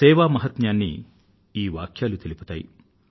సేవా మహత్మ్యాన్ని ఈ వాక్యాలు తెలియజేస్తాయి